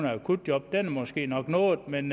akutjob er måske nok nået men